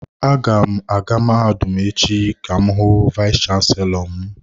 Aga m aga mahadum echi ka m hu vayis chansilọ m.